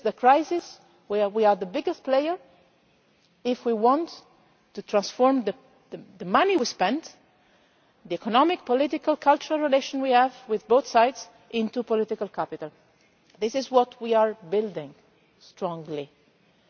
This is the crisis where we are the biggest player if we want to transform the money we have spent and the economic, political and cultural relations we have with both sites into political capital. This is what we are strongly building.